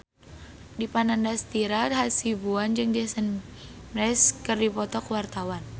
Dipa Nandastyra Hasibuan jeung Jason Mraz keur dipoto ku wartawan